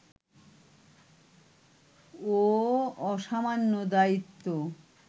ও অসামান্য দায়িত্ব